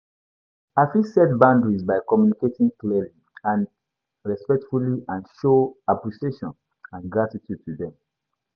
I fit set boundaries by communicating clearly and respectfully and show appreciation and gratitude to dem.